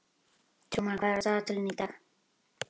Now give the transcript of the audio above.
Trúmann, hvað er á dagatalinu í dag?